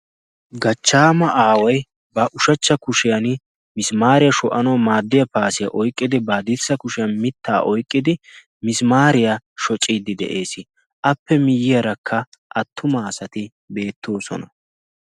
Gachchaama aaway ba ushachcha kushiyan misimaariyaa sho'anwau maaddiya paasiyaa oyqqidi baa hadirssa kushiyan mittaa oiqqidi misimaariyaa shociiddi de'ees. appe miyyiyaarakka attumaa asati beettoosona.